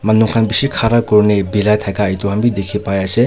Manu khan bishi khara kurina bira thaka etu khan bi dikhi pai ase.